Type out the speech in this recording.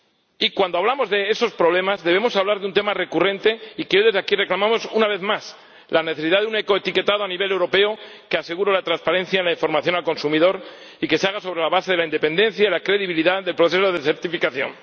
Y cuando hablamos de esos problemas, debemos hablar de un tema recurrente y que desde aquí reclamamos una vez más la necesidad de un ecoetiquetado a nivel europeo que asegure la transparencia en la información al consumidor y que se haga sobre la base de la independencia y la credibilidad del proceso de certificación.